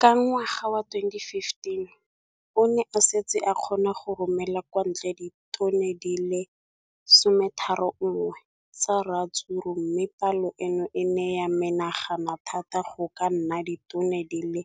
Ka ngwaga wa 2015, o ne a setse a kgona go romela kwa ntle ditone di le 31 tsa ratsuru mme palo eno e ne ya menagana thata go ka nna ditone di le